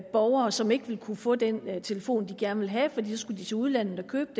borgere som ikke ville kunne få den telefon de gerne ville have fordi de så skulle til udlandet og købe